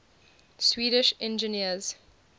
swedish engineers